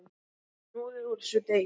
Hnoðið úr þessu deig.